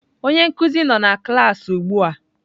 Onye nkuzi nọ na klaasị ugbu a.